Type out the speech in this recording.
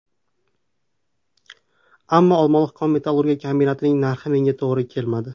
Ammo Olmaliq kon-metallurgiya kombinatining narxi menga to‘g‘ri kelmadi.